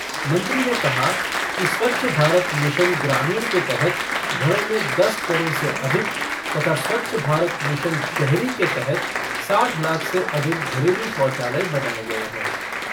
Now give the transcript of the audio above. मंत्री ने कहा कि स्वच्छ भारत मिशन ग्रामीण के तहत घरों में दस करोड़ से अधिक तथा स्वच्छ भारत मिशन शहरी के तहत साठ लाख से अधिक घरेलू शौचालय बनाये गये है।